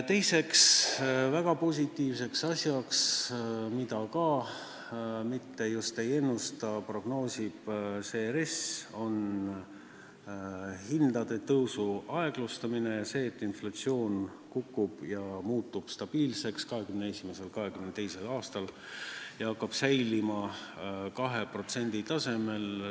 Teise väga positiivse asjana, mida ka just ei ennustaks, prognoosib RES hindade tõusu aeglustumist, seda, et inflatsioon kukub, muutub aastatel 2021–2022 stabiilseks ning jääb 2% tasemele.